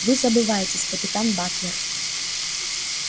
вы забываетесь капитан батлер